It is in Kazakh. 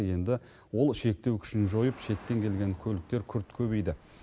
енді ол шектеу күшін жойып шеттен келген көліктер күрт көбейді